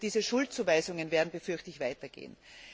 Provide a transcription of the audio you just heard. Diese Schuldzuweisungen werden, befürchte ich, weitergehen.